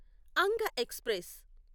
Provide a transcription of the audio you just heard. Anga express